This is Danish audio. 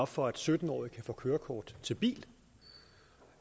for at sytten årige kan få kørekort til bil